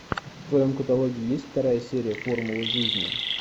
в твоем каталоге есть вторая серия формула жизни